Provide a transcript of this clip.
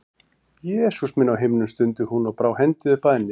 Jesús minn á himnum, stundi hún og brá hendi upp að enni.